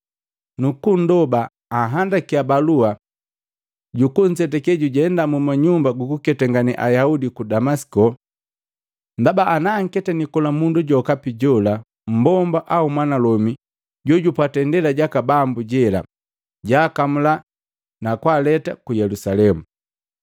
nukundoba anhandakiya balua juku nzetake muma Nyumba jukuketangane Ayaudi ku Damasiko, ndaba ana anketani kola mundu jokapi jola mmbomba au mwanalomi jojupwata Indela jaka Bambo jela, jwaakamula na kwaaleta ku Yelusalemu.